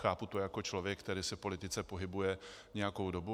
Chápu to jako člověk, který se v politice pohybuje nějakou dobu.